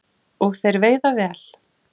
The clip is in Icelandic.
Og þeir veiða vel